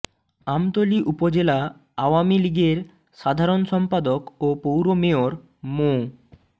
আমতলী উপজেলা আওয়ামী লীগের সাধারণ সম্পাদক ও পৌর মেয়র মো